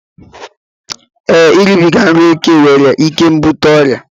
Ee, iribiga nri ókè nwere ike ibute ọrịa